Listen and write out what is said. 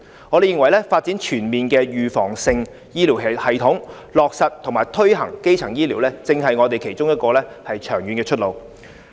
我們認為發展全面的預防性醫療系統，落實和推行基層醫療，正是我們其中一個長遠的出路。